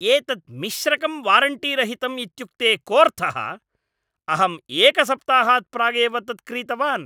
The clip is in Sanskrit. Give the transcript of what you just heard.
एतत् मिश्रकं वारण्टीरहितम् इत्युक्ते कोर्थः? अहं एकसप्ताहात् प्रागेव तत् क्रीतवान्!